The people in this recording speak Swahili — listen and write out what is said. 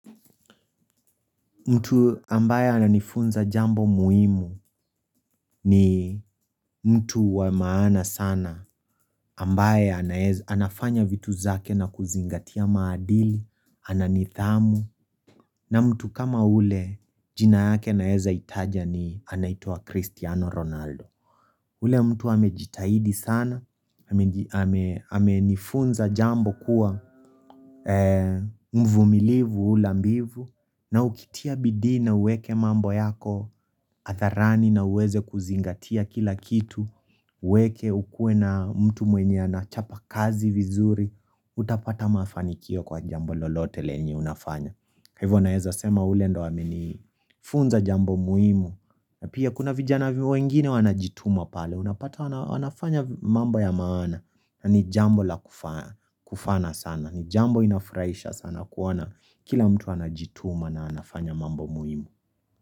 Mtu ambaye ananifunza jambo muhimu ni mtu wa maana sana, ambaye anafanya vitu zake na kuzingatia maadili, ana nidhamu, na mtu kama ule jina yake naeza itaja ni anaitwa Cristiano Ronaldo. Ule mtu amejitahidi sana, amenifunza jambo kuwa mvumilivu h ulambivu, na ukitia bidii na uweke mambo yako hadharani na uweze kuzingatia kila kitu, weke ukue na mtu mwenye anachapa kazi vizuri, utapata mafanikio kwa jambo lolote lenye unafanya. Kaivo naeza sema ule ndo wamenifunza jambo muhimu na pia kuna vijana vimu wengine wana jituma pale Unapata wanafanya mambo ya maana na ni jambo la kufana sana ni jambo inafraisha sana kuwana Kila mtu wana jituma na wanafanya mambo muimu.